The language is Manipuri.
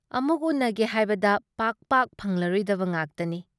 ꯑꯃꯨꯛ ꯎꯅꯒꯦ ꯍꯥꯏꯕꯗ ꯄꯥꯛ ꯄꯥꯛ ꯐꯪꯂꯔꯣꯏꯗꯕ ꯉꯥꯛꯇꯅꯤ꯫